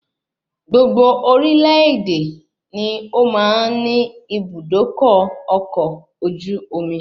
Gbogbo orílè èdè ni ó máa ń ni Ibùdókọ̀ ọkọ̀ ojú omi